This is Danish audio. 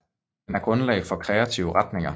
Den er grundlag for kreative retninger